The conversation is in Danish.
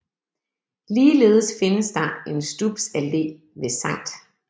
Ligeledes findes der en Stubs Alle ved Sct